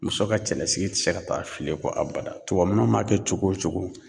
Muso ka cɛlasigi ti se ka taa fili ko abada. Tuwanun m'a kɛ cogo o cogo